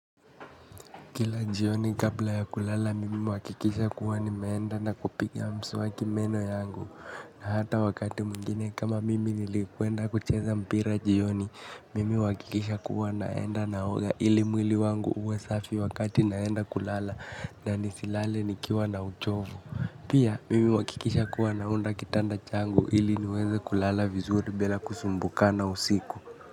Kila jioni kabla ya kulala mimi huakikisha kuwa ni meenda na kupiga mswaki meno yangu. Na hata wakati mwingine kama mimi nilikwenda kucheza mpira jioni. Mimi huakikisha kuwa naenda na oga ili mwili wangu uwe safi wakati naenda kulala. Na nisilale nikiwa na uchovu. Pia mimi huakikisha kuwa naunda kitanda changu ili niweze kulala vizuri bila kusumbukana usiku.